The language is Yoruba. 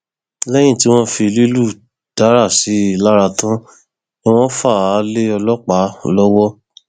lẹyìn tí wọn fi lílù dárà sí i lára tán ni wọn fà á lé ọlọpàá lọwọ